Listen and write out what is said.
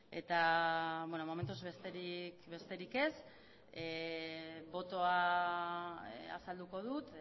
eta bueno momentuz besterik ez botoa azalduko dut